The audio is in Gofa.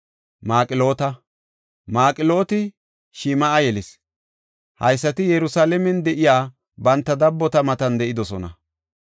Maqloota. Maqlooti Shim7a yelis. Haysati Yerusalaamen de7iya banta dabbota matan de7idosona.